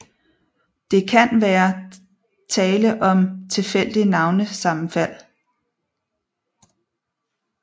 Det kan være tale om et tilfældigt navnesammenfald